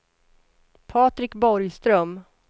Patrik Borgström